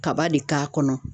Kaba de k'a kɔnɔ.